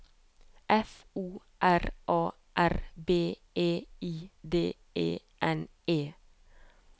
F O R A R B E I D E N E